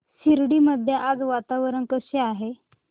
शिर्डी मध्ये आज वातावरण कसे आहे